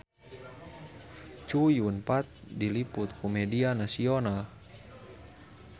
Chow Yun Fat diliput ku media nasional